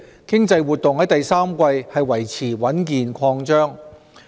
經濟活動在第三季維持穩健擴張。